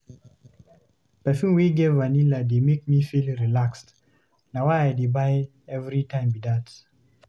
Perfume wey get vanilla dey make me feel relaxed. Na why I dey buy everytime be dat.